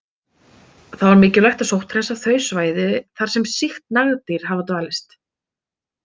Þá er mikilvægt að sótthreinsa þau svæði þar sem sýkt nagdýr hafa dvalist.